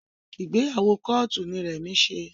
Ìgbéyàwó kóòtù ni Remi ṣe